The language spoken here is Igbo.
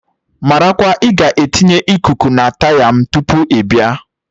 Marakwa ị ga etinye Ịkụku na taya m tupu ị bịa!